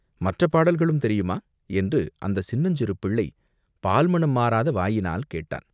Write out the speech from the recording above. மற்றப் பாடல்களும் தெரியுமா, என்று அந்தச் சின்னஞ்சிறு பிள்ளை பால் மணம் மாறாத வாயினால் கேட்டான்.